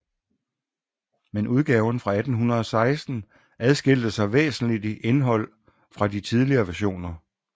Men udgaven fra 1816 adskilte sig væsentlig i indhold fra de tidligere versioner